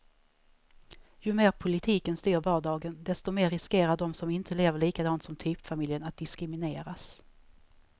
Ju mer politiken styr vardagen, desto mer riskerar de som inte lever likadant som typfamiljen att diskrimineras.